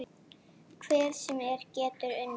Hver sem er getur unnið.